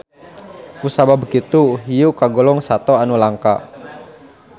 Ku sabab kitu hiu kagolong sato anu langka.